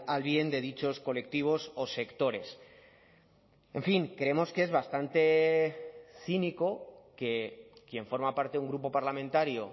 al bien de dichos colectivos o sectores en fin creemos que es bastante cínico que quien forma parte de un grupo parlamentario